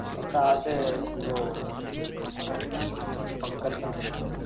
একটা আছে উও আ কি পঙ্কজ নাম.